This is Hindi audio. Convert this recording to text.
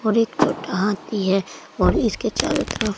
और एक छोटा हाथी है और इसके चारों तरफ--